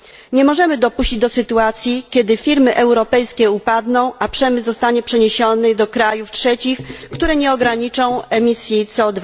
Nie możemy dopuścić do sytuacji, kiedy firmy europejskie upadną, a przemysł zostanie przeniesiony do krajów trzecich, które nie ograniczą emisji CO